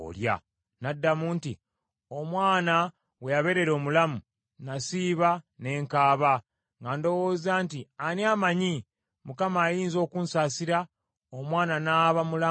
N’addamu nti, “Omwana we yabeerera omulamu, n’asiiba ne nkaaba, nga ndowooza nti, ‘Ani amanyi, Mukama ayinza okunsaasira, omwana n’aba mulamu?’